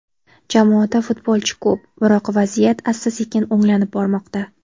Jamoada futbolchi ko‘p, biroq vaziyat asta-sekin o‘nglanib bormoqda.